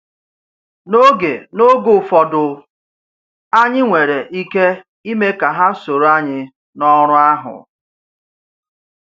N’oge N’oge ụfọdụ, anyị nwere ike ime ka ha soro anyị n’ọrụ ahụ.